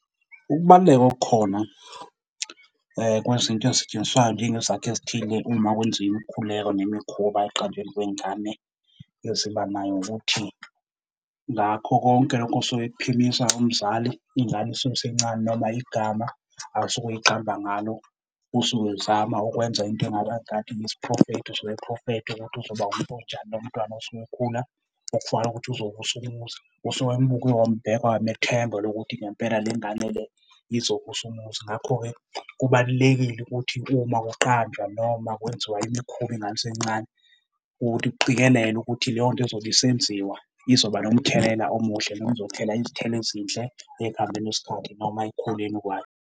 Ukubaluleka okukhona kwezinto ezisetshenziswayo njengezakhi ezithile uma kwenziwa imikhuleko nemikhuba ekuqanjweni kwengane ezibanayo ukuthi ngakho konke lokhu osuke ekuphimisa umzali, ingane isuke isencane noma igama asuke eyiqamba ngalo usuke ezama ukwenza into engathi yisiprofetho. Usuke eprofetha ukuthi uzoba umntu onjani lo mntwana osuke ekhula okufanele ukuthi uzovusa umuzi. Usuke embuke wambheka wamethemba lokuthi ngempela le ngane le izovusa umuzi. Ngakho-ke, kubalulekile ukuthi uma uqamba noma kwenziwa imikhuba ingane isencane ukuthi kuqikelelwe ukuthi leyo nto ezobe isenziwa izoba nomthelela omuhle noma izothela izithelo ezinhle ekuhambeni kwesikhathi noma ekukhuleni kwayo.